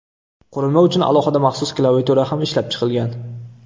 Qurilma uchun alohida maxsus klaviatura ham ishlab chiqilgan.